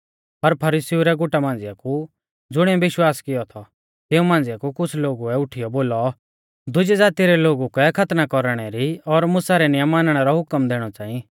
पर फरीसीउ रै गुटा मांझ़िया कु ज़ुणिऐ विश्वास कियौ थौ तिऊं मांझ़िऐ कु कुछ़ लोगुऐ उठीयौ बोलौ दुजी ज़ाती रै लोगु कै खतना कौरणै री और मुसा रै नियम मानणै रौ हुकम दैणौ च़ांई